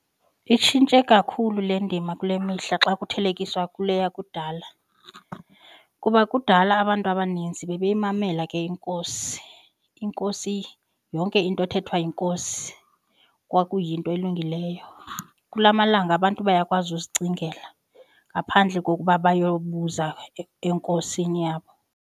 Itshintshe kakhulu le ndima kule mihla xa kuthelekiswa kule yakudala kuba kudala abantu abaninzi bebeyimamela ke iNkosi. INkosi yonke into ethethwa yiNkosi kwakuyinto elungileyo. Kula malanga abantu bayakwazi uzicingela ngaphandle kokuba bayobuza eNkosini yabo.